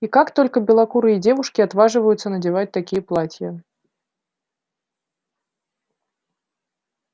и как только белокурые девушки отваживаются надевать такие платья